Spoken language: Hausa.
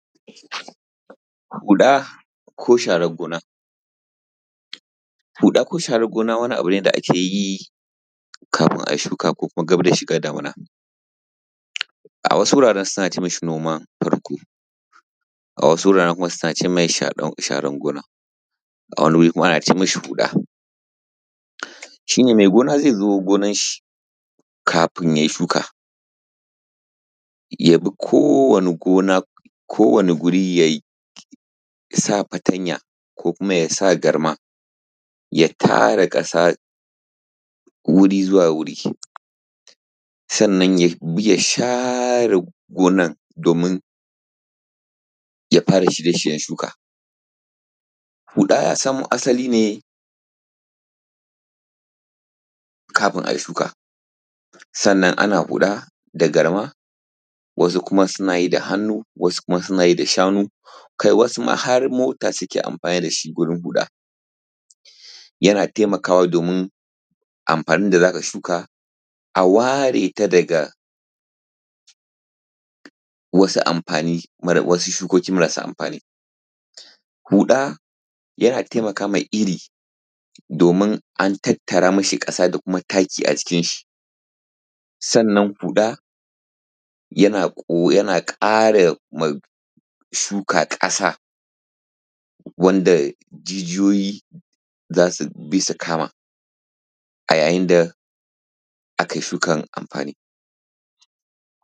Huɗa ko sharar gona. Huɗa ko sharar gona, wani abu ne da ake yi. Kafin ai shuka kokuma gab da shiga damina. A wasu wurare, suna cemasi noman farko. A wasu wuraren suna cemasi huɗa. A wani guri kuma ana cemasi huɗa. Shine mai gona zai zo gonanshi. Kafin yayi shuka. Yabi kowani gona kowani guri. Jaj yasa fatanya kokuma yasa garma. Ya tara kasa. Wuri zuwa wuri. Sannan yabi yashare gonan. Domin yafara shirye-shiryen shuka. Huɗa yasamo asali ne. Kafin ai shuka. Sannan ana huɗa da garma. Wasu kuma suna yi da hannu, wasu kuma sun yi da shanu. Kai wasuma har mota suke amfani dashi gurin huda. Yana taimakawa domin amfanin abinda zaka shuka. Aware ta daga, Wasu amfani wasu shukoki marasa amfani. Huɗa yana taimakama iri. Domin an tattara mashi ƙasa dakuma taki ajikinshi. Sannan huɗa. Yana ƙo jana ƙaya ma shuka kasa. Wanda jijiyoyi zasubi su kama. A yayinda akai shukan amfani.